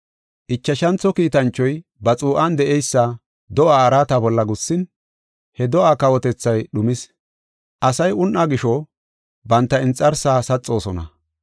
Ichashantho kiitanchoy ba xuu7an de7eysa do7aa araata bolla gussin, he do7aa kawotethay dhumis. Asay un7aa gisho, banta inxarsaa saxoosona.